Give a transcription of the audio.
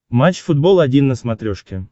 матч футбол один на смотрешке